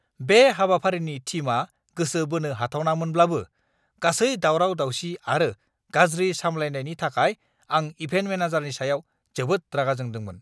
बे हाबाफारिनि थीमआ गोसो बोनो हाथावनामोनब्लाबो गासै दावराव-दावसि आरो गाज्रि सामलायनायनि थाखाय आं इभेन्ट मेनेजारनि सायाव जोबोद रागा जोंदोंमोन!